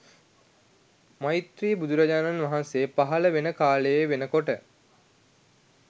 මෛත්‍රී බුදුරජාණන් වහන්සේ පහළ වෙන කාලෙ වෙනකොට